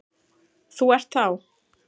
Þú ert þá?